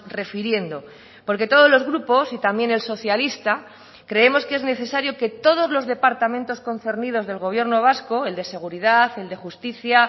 refiriendo porque todos los grupos y también el socialista creemos que es necesario que todos los departamentos concernidos del gobierno vasco el de seguridad el de justicia